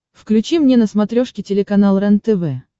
включи мне на смотрешке телеканал рентв